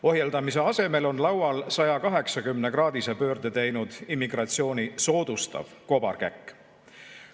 Ohjeldamise asemel on laual 180-kraadise pöörde teinud immigratsiooni soodustav kobarkäkk.